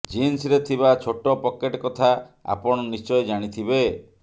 ଜିନ୍ସରେ ଥିବା ଛୋଟ ପକେଟ କଥା ଆପଣ ନିଶ୍ଚୟ ଜାଣିଥିବେ